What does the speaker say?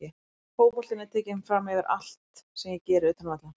Fótboltinn er tekinn framyfir allt sem ég geri utan vallar.